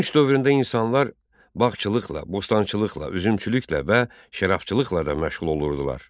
Tunç dövründə insanlar bağçılıqla, bostançılıqla, üzümçülüklə və şərabçılıqla da məşğul olurdular.